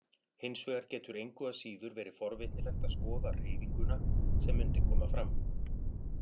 Hins vegar getur engu að síður verið forvitnilegt að skoða hreyfinguna sem mundi koma fram.